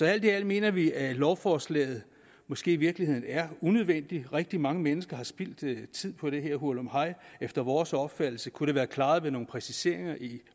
alt i alt mener vi at lovforslaget måske i virkeligheden er unødvendigt rigtig mange mennesker har spildt tid på det her hurlumhej efter vores opfattelse kunne det være klaret med nogle præciseringer i